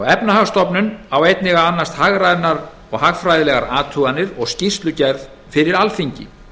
efnahagsstofnun á einnig að annast hagrænar og hagfræðilegar athuganir og skýrslugerð fyrir alþingi